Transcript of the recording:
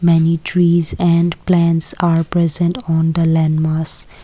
many trees and plants are present on the landmass.